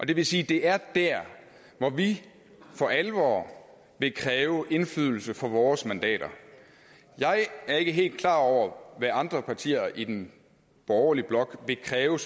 det vil sige at det er der hvor vi for alvor vil kræve indflydelse for vores mandater jeg er ikke helt klar over hvad andre partier i den borgerlige blok vil kræve og